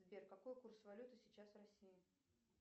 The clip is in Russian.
сбер какой курс валюты сейчас в россии